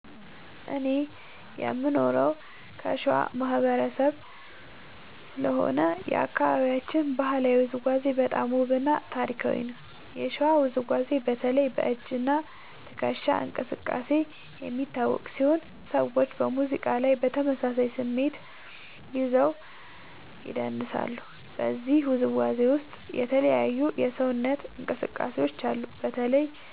እኔ የምኖረው ከሸዋ ማህበረሰብ ስለሆነ የአካባቢያችን ባህላዊ ውዝዋዜ በጣም ውብ እና ታሪካዊ ነው። የሸዋ ውዝዋዜ በተለይ በ“እጅ እና ትከሻ እንቅስቃሴ” የሚታወቅ ሲሆን ሰዎች በሙዚቃ ላይ በተመሳሳይ ስሜት ይዘው ይደንሳሉ። በዚህ ውዝዋዜ ውስጥ የተለያዩ የሰውነት እንቅስቃሴዎች አሉ። በተለይ